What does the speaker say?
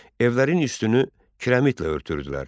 Evlərin üstünü kirəmitlə örtürdülər.